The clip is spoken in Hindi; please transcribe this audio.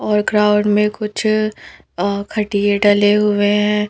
और ग्राउंड में कुछ अ खट्टीए डले हुए हैं।